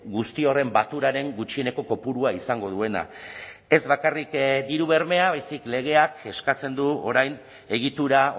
guzti horren baturaren gutxieneko kopurua izango duena ez bakarrik diru bermea baizik legeak eskatzen du orain egitura